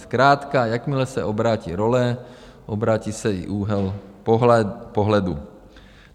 Zkrátka jakmile se obrátí role, obrátí se i úhel pohledu.